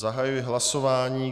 Zahajuji hlasování.